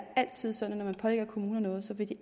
altid sådan at når man pålægger kommuner noget vil de